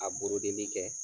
A kɛ.